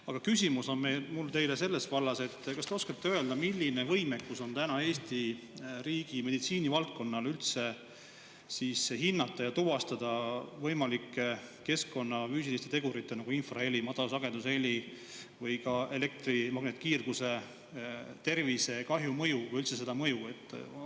Aga küsimus on mul teile sellest vallast: kas te oskate öelda, milline võimekus on täna Eesti riigi meditsiinivaldkonnal üldse hinnata ja tuvastada võimalike keskkonna füüsiliste tegurite, nagu infraheli, madalsagedusheli või ka elektromagnetkiirguse tervisekahju mõju või üldse see mõju?